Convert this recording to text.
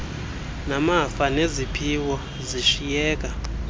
namafa neziphiwo zishiyeka